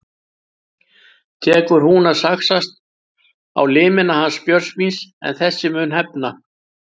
Tekur nú að saxast á limina hans Björns míns en þessi mun hefna.